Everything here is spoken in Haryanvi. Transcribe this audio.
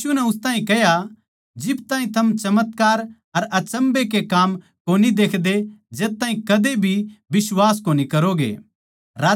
यीशु नै उस ताहीं कह्या जिब ताहीं थम चमत्कार अर अचम्भै के काम कोनी देखदे जद ताहीं कदे भी बिश्वास कोनी करोगे